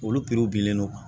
Olu piriw bilen do